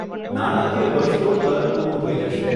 નાણાકીય વર્ષ તો તરત પૂરું થઇ જશે.